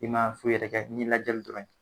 I ma foyi yɛrɛ kɛ ni lajali dɔrɔn.